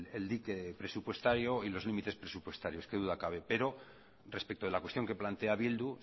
el dique presupuestario y los límites presupuestarios qué duda cabe pero respecto de la cuestión que plantea bildu